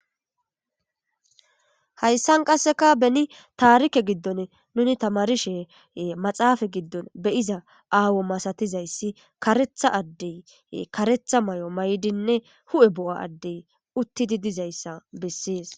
Hayssan qasseka beni taarike giddon nuni tamarishe maxaafa giddon beyiza aawo masatizayssi karetha addey karetha may7o may7dinne hu7e bo7a addey uttidi dizayssa bessees.